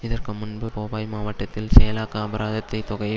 இதற்கு முன்பு போபாய் மாவட்டத்தில் செயலாக்க அபராதத்தை தொகையை